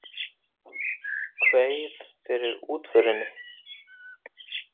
Kveið fyrir útförinni.